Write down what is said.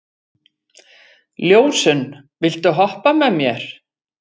Ljósunn, viltu hoppa með mér?